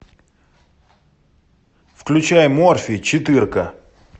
включай морфий четырка